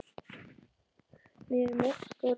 Meri mjólkuð í Kirgistan.